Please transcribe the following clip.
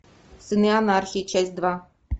сыны анархии часть два